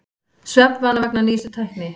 Svefnvana vegna nýjustu tækni